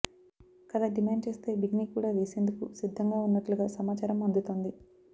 కథ డిమాండ్ చేస్తే బికినీ కూడా వేసేందుకు సిద్దంగా ఉన్నట్లుగా సమాచారం అందుతోంది